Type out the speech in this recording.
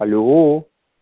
алло